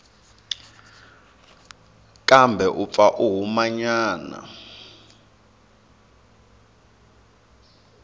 kambe u pfa a humanyana